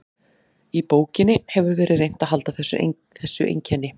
Í bókinni hefur verið reynt að halda þessu einkenni.